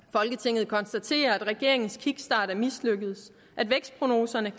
folketinget konstaterer at regeringens kickstart er mislykkedes at vækstprognoserne